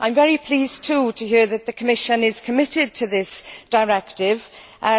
I am also very pleased to hear that the Commission is committed to this directive,